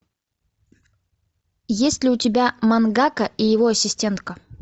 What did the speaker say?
есть ли у тебя мангака и его ассистентка